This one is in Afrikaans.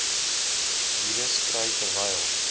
virus kry terwyl